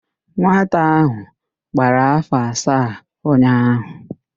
Nwata áhụ̀ gbara áfọ̀ asaa ụnyaahụ